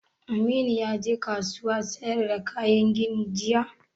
Aminu ya je kasuwan sayar da kayan gini jiya?